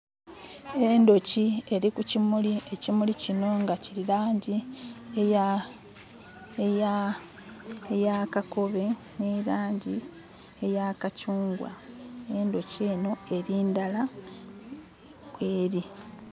Endooki eri kukimuli. Ekimuli kino nga kiri langi eya kakobe ne langi eya kacungwa. Endooki eno eri ndala kweri.